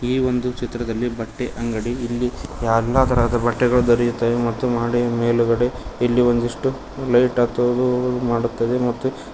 ಈ ಒಂದು ಚಿತ್ರದಲ್ಲಿ ಬಟ್ಟೆ ಅಂಗಡಿ ಇಲ್ಲಿ ಎಲ್ಲಾ ತರಹದ ಬಟ್ಟೆಗಳು ದೊರೆಯುತ್ತವೆ ಮತ್ತು ಮಹಡಿಯ ಮೇಲ್ಗಡೆ ಇಲ್ಲಿ ಒಂದಿಷ್ಟು ಲೈಟ್ ಹತ್ತೋದು ಮಾಡುತ್ತದೆ ಮತ್ತು.